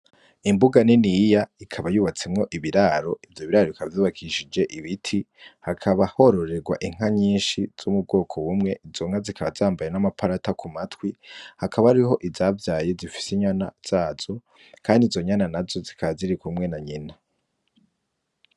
Imbuga nini iya ikaba yubatsemwo ibiraro ivyo biraro ikavyubakishije ibiti hakaba hororerwa inka nyinshi z'umubwoko wumwe izonka zikaba zambaye n'amaparata ku matwi hakaba ariho izavyaye zifise inyana zazo, kandi zonyana na zo zikazirikumwe na nyina.